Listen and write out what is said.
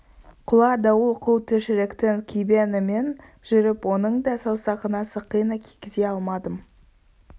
құла дауыл қу тіршіліктің күйбеңімен жүріп оның да саусағына сақина кигізе алмадым